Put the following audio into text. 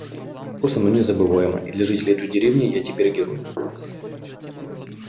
просто но незабываемо и для жителей той деревни я теперь герой